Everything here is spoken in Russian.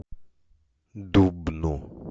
дубну